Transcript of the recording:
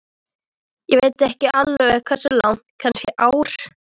Ég veit samt ekki alveg hversu langt, kannski ár?